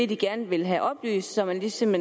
de gerne vil have oplyst så man ligesom